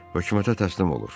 Hökumətə təslim olur.